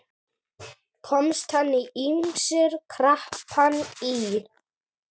Komast hann ýmsir krappan í.